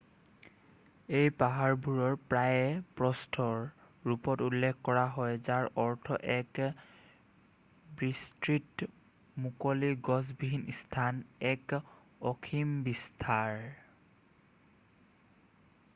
"এই পাহাৰবোৰৰ প্ৰায়েই "প্ৰস্থ" ৰ ৰূপত উল্লেখ কৰা হয় যাৰ অৰ্থ এক বিস্তৃত মুকলি গছবিহীন স্থান এক অসীম বিস্তাৰ ।""